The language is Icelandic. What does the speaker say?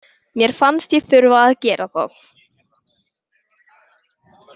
Mér fannst ég þurfa að gera það.